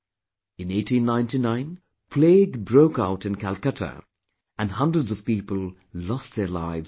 In 1899, plague broke out in Calcutta and hundreds of people lost their lives in no time